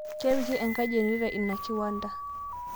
Kepiki enkai genereta ina kiwanda